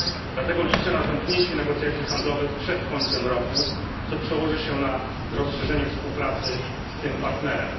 Dlatego liczę na zamknięcie negocjacji handlowych przed końcem roku, co przełoży się na rozszerzenie współpracy z tym partnerem.